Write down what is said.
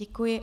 Děkuji.